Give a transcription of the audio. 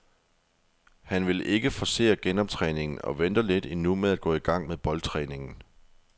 Han vil ikke forcere genoptræningen og venter lidt endnu med at gå i gang med boldtræningen.